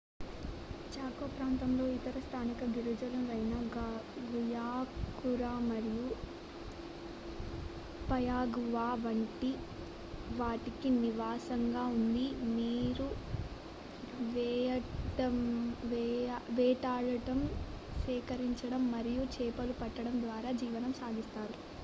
choco ప్రాంతం ఇతర స్థానిక గిరిజనులైన గుయాకురు మరియు పయాగువ వంటి వారికి నివాసంగా ఉంది వీరు వేటాడటం సేకరించడం మరియు చేపలు పట్టడం ద్వారా జీవనం సాగిస్తారు